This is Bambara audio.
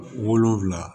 Wolonfila